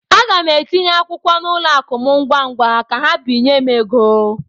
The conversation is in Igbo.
Aga m etinye akwụkwọ n'ụlọ akụ m ngwa ngwa ka ha binye m ego.